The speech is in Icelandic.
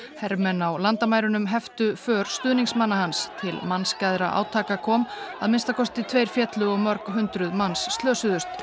hermenn á landamærunum heftu för stuðningsmanna hans til átaka kom að minnsta kosti tveir féllu og mörg hundruð manns slösuðust